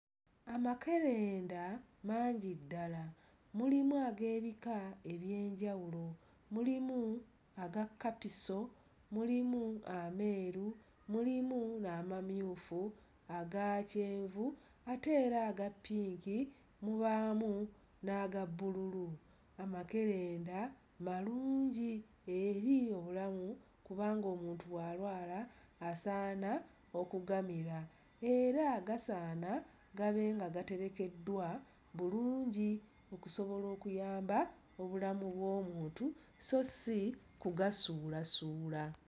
Amakerenda mangi ddala. Mulimu ag'ebika eby'enjawulo. Mulimu aga kkapiso, mulimu ameeru, mulimu n'amamyufu, aga kyenvu ate era aga ppinki, mubaamu n'aga bbululu. Amakerenda malungi eri obulamu kubanga omuntu bw'alwala asaana okugamira era gasaana gabe nga gaterekeddwa bulungi okusobola okuyamba obulamu bw'omuntu sso si kugasuulasuula.